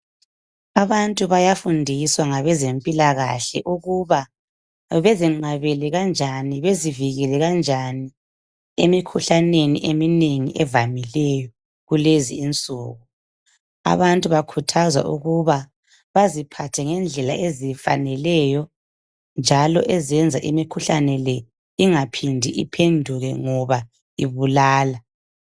Abantu bayafundiswa ngabezempilakahle ukuba bazinqabele kanjani , bazivikele kanjani emikhuhlaneni eminengi evamileyo kulezi insuku. Abantu bakhuthazwa ukuba baziphathe ngendlela efaneleyo njalo ezenza imikhuhlane le ingaphindi iphenduke ngoba ibulala.